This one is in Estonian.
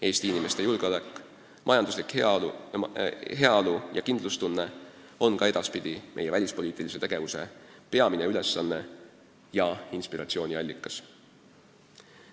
Eesti inimeste julgeolek, majanduslik heaolu ja kindlustunne on ka edaspidi meie välispoliitilise tegevuse peamine ülesanne ja inspiratsiooniallikas.